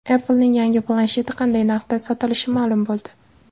Apple’ning yangi plansheti qanday narxda sotilishi ma’lum bo‘ldi.